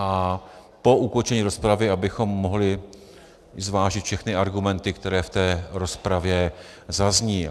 A po ukončení rozpravy, abychom mohli zvážit všechny argumenty, které v té rozpravě zazní.